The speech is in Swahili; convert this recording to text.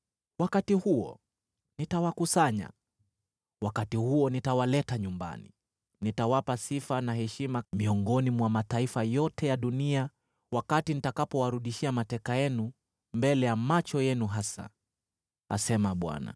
Wakati huo nitawakusanya; wakati huo nitawaleta nyumbani. Nitawapa sifa na heshima miongoni mwa mataifa yote ya dunia wakati nitakapowarudishia mateka yenu mbele ya macho yenu hasa,” asema Bwana .